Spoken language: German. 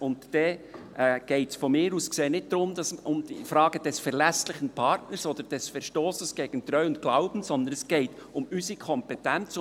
Dann geht es meiner Ansicht nach nicht um die Frage des verlässlichen Partners oder des Verstosses gegen Treu und Glauben, sondern es geht um unsere Kompetenz.